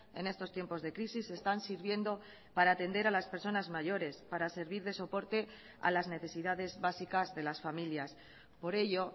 en estos tiempos de crisis están sirviendo para atender a las personas mayores para servir de soporte a las necesidades básicas de las familias por ello